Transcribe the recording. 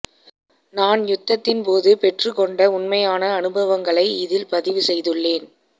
நான் யுத்தத்தின் போது பெற்றுக்கொண்ட உண்மையான அனுபவங்களை இதில் பதிவு செய்துள்ளேன்